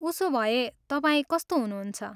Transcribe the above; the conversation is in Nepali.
उसोभए, तपाईँ कस्तो हुनुहुन्छ?